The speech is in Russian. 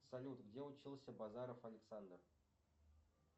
салют где учился базаров александр